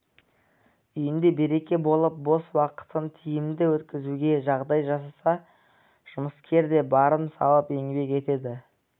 үйінде береке болып бос уақытын тиімді өткізуге жағдай жасаса жұмыскер де барын салып еңбек етеді